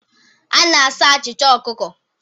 A na-asa achịcha ọkụkọ